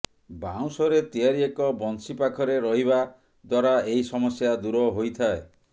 ବାଉଁଶରେ ତିଆରି ଏକ ବଂଶୀ ପାଖରେ ରହିବା ଦ୍ୱାରା ଏହି ସମସ୍ୟା ଦୂର ହୋଇଥାଏ